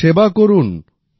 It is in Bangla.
শুধু সেবা করুন